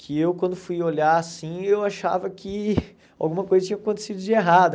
que eu quando fui olhar assim, eu achava que alguma coisa tinha acontecido de errado,